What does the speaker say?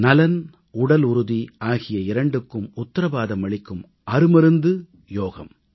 நலன் உடலுறுதி ஆகிய இரண்டுக்கும் உத்தரவாதம் அளிக்கும் அருமருந்து யோகம்